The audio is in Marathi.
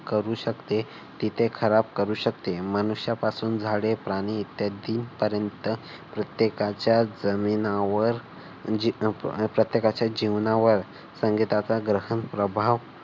करू शकते ती ते खराब करू शकते. मनुष्यापासून झाडे, प्राणी इत्यादी पर्यंत प्रत्येकाच्या जीवनावर प्रत्येकाच्या जीवनावर संगीताचा ग्रहण प्रभाव